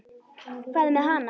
Hvað með hana?